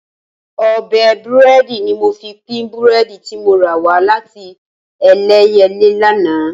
Ọ̀bẹ búrẹ́dì ni mo fi pín búrẹ́dì tí mo rà wá láti Ẹlẹ́yẹlé lánàá